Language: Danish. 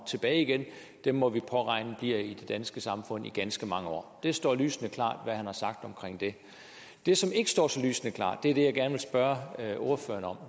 tilbage igen dem må vi regne bliver i det danske samfund i ganske mange år det står lysende klart hvad han har sagt om det det som ikke står så lysende klart er det jeg gerne vil spørge ordføreren om